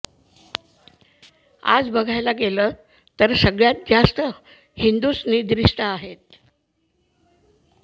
आज बघायला गेल तर सगळ्यात जास्त हिंदूंच निद्रिस्त आहेत